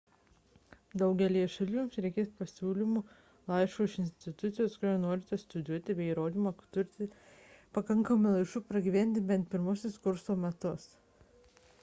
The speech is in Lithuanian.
daugelyje šalių jums reikės pasiūlymo laiško iš institucijos kurioje norite studijuoti bei įrodymo kad turite pakankamai lėšų pragyventi bent pirmuosius kurso metus